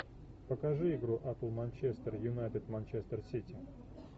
покажи игру апл манчестер юнайтед манчестер сити